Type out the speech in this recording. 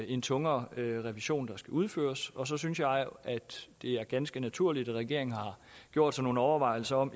en tung revision der skal udføres og så synes jeg at det er ganske naturligt at regeringen har gjort sig nogle overvejelser om